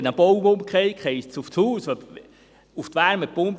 wenn ein Baum umfällt, dann fällt er auf das Haus.